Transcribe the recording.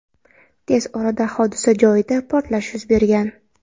Tez orada hodisa joyida portlash yuz bergan.